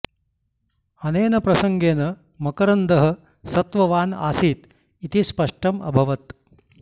अनेन प्रसङ्गेन मकरन्दः सत्ववान् आसीत् इति स्पष्टम् अभवत्